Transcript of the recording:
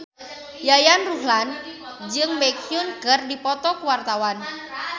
Yayan Ruhlan jeung Baekhyun keur dipoto ku wartawan